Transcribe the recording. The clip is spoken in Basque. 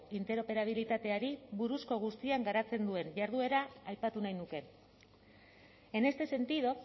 interoperabilitateari buruzko guztian garatzen duen jarduera aipatu nahi nuke en este sentido